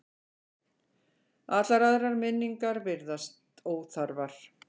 Allar aðrar minningar virðast óþarfar.